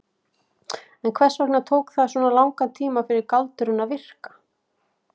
En hvers vegna tók það svona langan tíma fyrir galdurinn að virka?